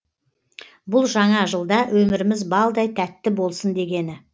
бұл жаңа жылда өміріміз балдай тәтті болсын дегені